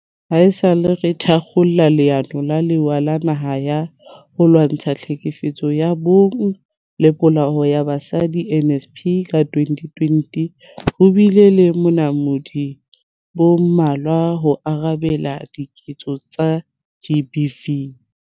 Haesale re thakgola Leano la Lewa la Naha la ho Lwantsha Tlhekefetso ya Bong le Polao ya Basadi, NSP, ka 2020, ho bile le bonamodi bo mmalwa ho arabela diketso tsa GBV.